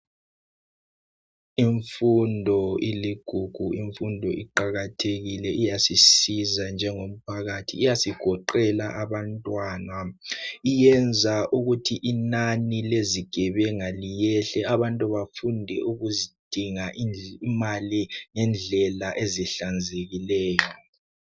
Imfundo iligugu, imfundo iqakathekile iyasisiza njengomphakathi iyasigoqela abantwana. Iyenza ukuthi inani lezigebenga liyehle, abantu bafunde ukudinga imali ngendlela ezihlanzekileyo.